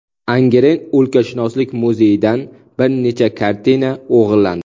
Angren o‘lkashunoslik muzeyidan bir nechta kartina o‘g‘irlandi.